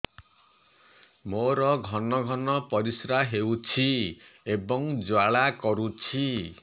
ମୋର ଘନ ଘନ ପରିଶ୍ରା ହେଉଛି ଏବଂ ଜ୍ୱାଳା କରୁଛି